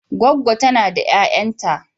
Goggo tana da 'ya'yanta.